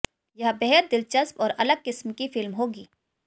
यह बेहद दिलचस्प और अलग किस्म की फिल्म होगी